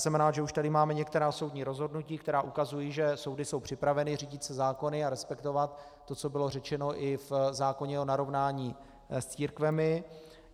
Jsem rád, že už tady máme některá soudní rozhodnutí, která ukazují, že soudy jsou připraveny řídit se zákony a respektovat to, co bylo řečeno i v zákoně o narovnání s církvemi.